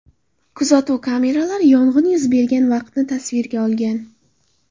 Kuzatuv kameralari yong‘in yuz bergan vaqtni tasvirga olgan.